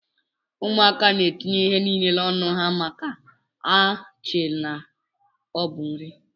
Ụmụaka na etinye ihe nile na ọnụ maka na ha chere na ọbu nri.